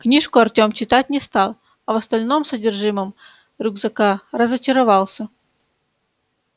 книжку артем читать не стал а в остальном содержимом рюкзака разочаровался